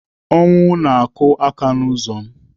Ọnwụ na-akụ aka n'ụzọ m